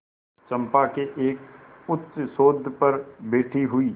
चंपा के एक उच्चसौध पर बैठी हुई